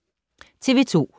TV 2